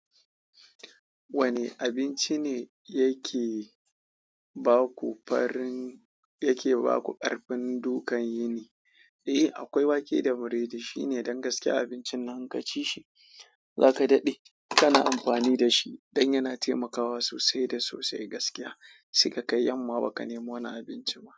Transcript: Wanne abinci ne yake ba ku farin, yake ba ku ƙarfin dukkan yini? Akwai wake da biredi shine ɗan gaske abinci, idan ka ci shi za ka daɗe kana amfani da shi don yana taimakawa sosai da sosai gaskiya. Sai ka kai yamma ba ka nemo wani abinci ba.